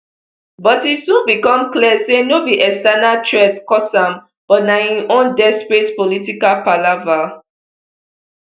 but e soon become clear say no be external threats cause am but na im own desperate political palava